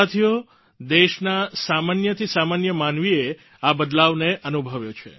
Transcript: સાથીઓ દેશના સામાન્ય થી સામાન્ય માનવીએ આ બદલાવને અનુભવ્યો છે